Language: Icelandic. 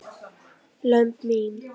lömb mín.